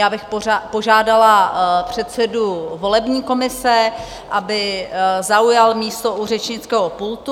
Já bych požádala předsedu volební komise, aby zaujal místo u řečnického pultu.